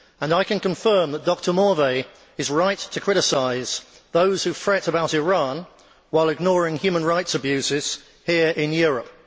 I can confirm that Dr Morvai is right to criticise those who fret about Iran while ignoring human rights abuses here in Europe.